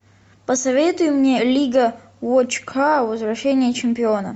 посоветуй мне лига вотчкар возвращение чемпиона